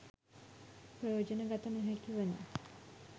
ප්‍රයෝජන ගත නොහැකි වන